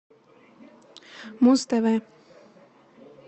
муз тв